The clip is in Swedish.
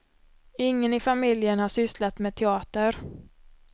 Ingen i familjen har sysslat med teater.